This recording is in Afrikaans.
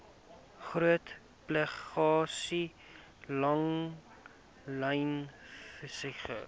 groot pelagiese langlynvissery